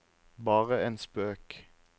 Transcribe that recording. bare en spøk